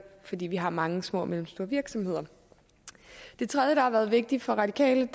fordi vi har mange små og mellemstore virksomheder det tredje der har været vigtigt for radikale